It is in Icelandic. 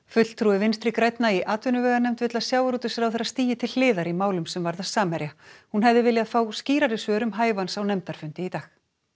fulltrúi Vinstri grænna í atvinnuveganefnd vill að sjávarútvegsráðherra stígi til hliðar í málum sem varða Samherja hún hefði viljað fá skýrari svör um hæfi hans á nefndarfundi í dag